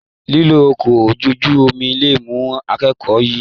Lilo ọkọ ojú omi léwu l'akoko yìí.